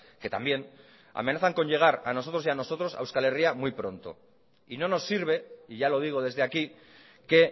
que también amenazan con llegar a nosotros y a nosotros a euskal herria muy pronto y no nos sirve y ya lo digo desde aquí que